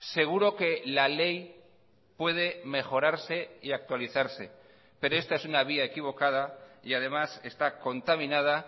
seguro que la ley puede mejorarse y actualizarse pero esta es una vía equivocada y además está contaminada